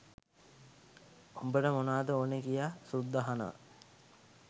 උඹට මොනාද ඕනෑ කියා සුද්දා අහනවා